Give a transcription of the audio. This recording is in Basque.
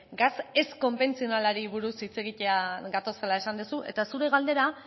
gas ez konbentzionalari buruz hitz egitera gatozela esan duzu eta zure galdera